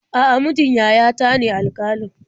A'a, mijin yayata ne alƙalin.